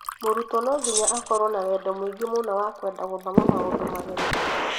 Mũrutwo no nginya akorwo na wendo mũingĩ mũno wa kwenda guthoma maũndũ mageni